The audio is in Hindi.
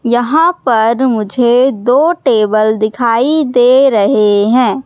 यहां पर मुझे दो टेबल दिखाई दे रहे हैं।